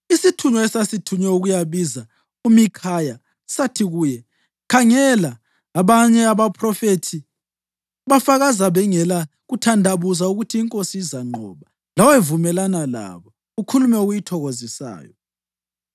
Isithunywa esasithunywe ukuyabiza uMikhaya sathi kuye, “Khangela, abanye abaphrofethi bafakaza bengela kuthandabuza ukuthi inkosi izanqoba. Lawe vumelana labo, ukhulume okuyithokozisayo.”